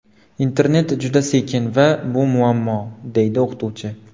Internet juda sekin va bu muammo”, deydi o‘qituvchi.